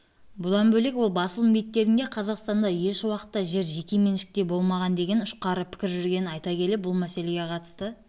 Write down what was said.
бұдан бөлек ол басылым беттерінде қазақстанда еш уақытта жер жеке меншікте болмаған деген ұшқары пікір жүргенін айта келе бұл мәселеге қатысты